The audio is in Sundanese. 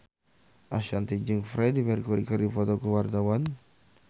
Ashanti jeung Freedie Mercury keur dipoto ku wartawan